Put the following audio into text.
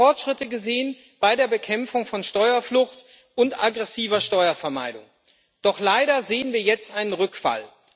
Wir haben Fortschritte gesehen bei der Bekämpfung von Steuerflucht und aggressiver Steuervermeidung. Doch leider sehen wir jetzt einen Rückfall.